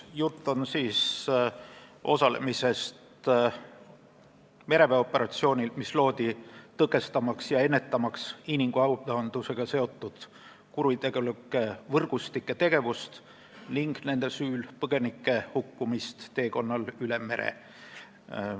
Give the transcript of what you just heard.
Jutt on osalemisest mereväeoperatsioonil, mis loodi, et tõkestada ja ennetada inimkaubandusega seotud kuritegelike võrgustike tegevust ning nende süül põgenike hukkumist teekonnal üle mere.